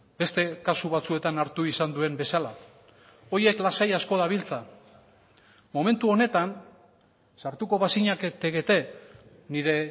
beste kasu batzuetan hartu izan duen bezala horiek lasai asko dabiltza momentu honetan sartuko bazinatekete nire